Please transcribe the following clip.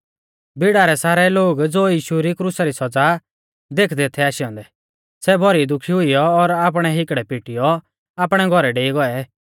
भीड़ा रै सारै लोग ज़ो यीशु री क्रुसा री सौज़ा देखदै थै आशै औन्दै सै भौरी दुखी हुईयौ और आपणै हिकड़ै पिटियौ आपणै घौरै डेई गौऐ